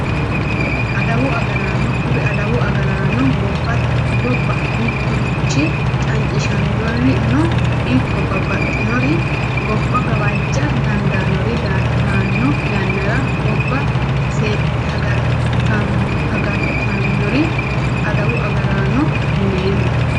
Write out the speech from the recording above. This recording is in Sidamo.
Adawu agaraano kuri adawu agaraano gobba mitturichi cancishannorino ikko babbaxxinori gobba gawajja dandaannori daanno yannara gobba seekkite agartannore adawu agaraano yineemmo